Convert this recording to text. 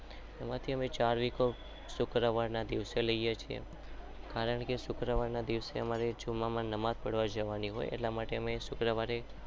શુક્રવાર ના દિવસે લઈએ છીએ.